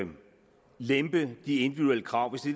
lempe de individuelle krav